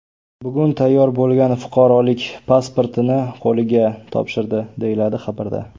Bugun tayyor bo‘lgan fuqarolik pasportini qo‘liga topshirdi”, deyiladi xabarda.